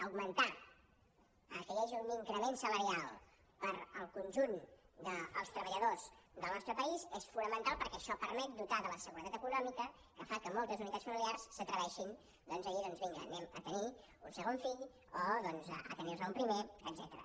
augmentar que hi hagi un increment salarial per al conjunt dels treballadors del nostre país és fonamental perquè això permet dotar de la seguretat econòmica que fa que moltes unitats familiars s’atreveixin a dir doncs vinga tinguem un segon fill o doncs a tenir ne un primer etcètera